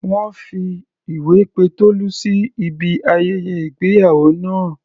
Wọ́n fi ìwé pe Tolú sí ibi ayẹyẹ ìgbéyàwó náà.